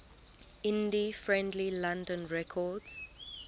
indie friendly london records